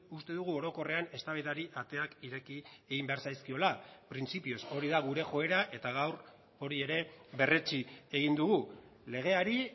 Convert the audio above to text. uste dugu orokorrean eztabaidari ateak ireki egin behar zaizkiola printzipioz hori da gure joera eta gaur hori ere berretsi egin dugu legeari